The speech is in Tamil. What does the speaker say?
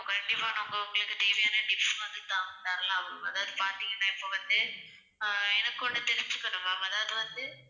கண்டிப்பா கண்டிப்பா உங்களுக்கு தேவையான tips வந்து தரலாம். அதாவது பாத்தீங்கன்னா இப்போ வந்து ஆஹ் எனக்கு ஒன்னு தெரிஞ்சுக்கணும் ma'am அதாவது வந்து,